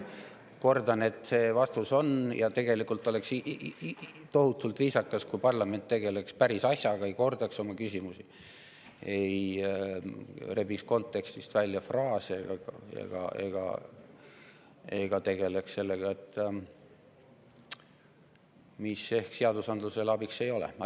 Kordan, et tegelikult oleks viisakas, kui parlament tegeleks päris asjaga, ei kordaks oma küsimusi, ei rebiks fraase kontekstist välja ega tegeleks sellega, mis seadusandlusele abiks ei ole.